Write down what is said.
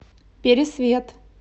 пересвет